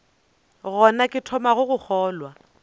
gona ke thomago go kgolwa